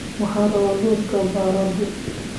Waxaan rabaa lawska baradho.